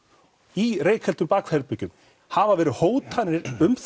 í reykfylltu bakherbergjum hafa verið hótanir um